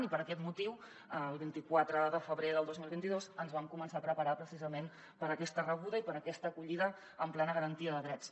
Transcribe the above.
i per aquest motiu el vint quatre de febrer del dos mil vint dos ens vam començar a preparar precisament per a aquesta rebuda i per a aquesta acollida amb plena garantia de drets